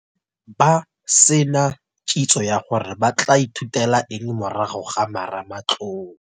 Ba se na kitso ya gore ba tla ithutela eng morago ga marematlou.